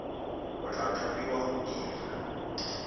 o tla thapiwa go dira